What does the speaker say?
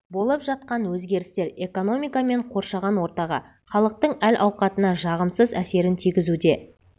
болып жатқан өзгерістер экономика мен қоршаған ортаға халықтың әл-ауқатына жағымсыз әсерін тигізуде